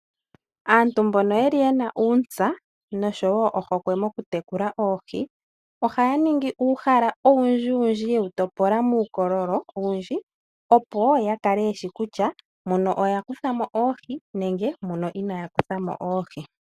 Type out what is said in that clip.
Aantu mbono yeli yena uuntsa noshowo ohokwe mokutekula oohi, ohaa ningi uuhala owundjiwundji ye wu topola muukololo owundji, opo ya kale yeshi kutya muno oya kutha mo oohi nenge muno inaya kutha mo oohi.